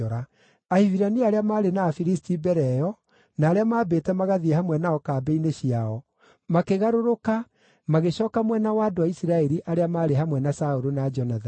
Ahibirania arĩa maarĩ na Afilisti mbere ĩyo na arĩa maambĩte magathiĩ hamwe nao kambĩ-inĩ ciao, makĩgarũrũka magĩcooka mwena wa andũ a Isiraeli arĩa maarĩ hamwe na Saũlũ na Jonathani.